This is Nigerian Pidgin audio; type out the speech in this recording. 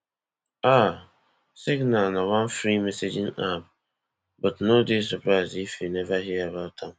um signal na one free messaging app but no dey surprised if you never hear about am